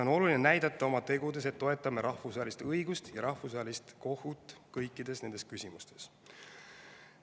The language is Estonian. On oluline oma tegudes näidata, et toetame rahvusvahelist õigust ja Rahvusvahelist Kohut kõikides nendes küsimustes.